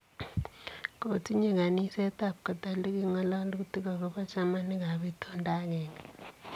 Kotinye kaniseet ab katoliki ngololuutik agobo chamaniik ab intondo ageng'e.